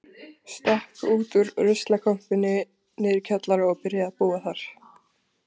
Stakk út úr ruslakompunni niðri í kjallara og byrjaði að búa þar.